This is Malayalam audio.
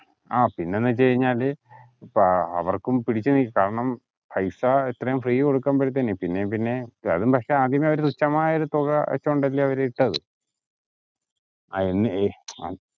ആഹ് പിന്നെന്നുച്ചുകഴിഞ്ഞാല് ഏർ അവർക്കും കാരണം പൈസ എത്രയും free കൊടുക്കുമ്പോഴത്തെന് പിന്നേം പിന്നേം കാര്യം ആദ്യമേ അവർ തുച്ഛമായൊരു തുക വച്ചോണ്ട് അല്ലെ അവർ ഇട്ടത്